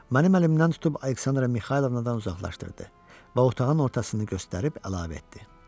Mənim əlimdən tutub Aleksandra Mixaylovnadan uzaqlaşdırdı və otağın ortasını göstərib əlavə etdi.